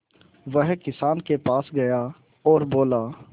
वह किसान के पास गया और बोला